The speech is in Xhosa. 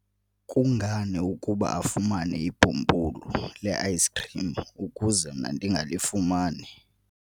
kungani ukuba afumane ibhumbulu le-ayisikhrim ukuze mna ndingalifumani?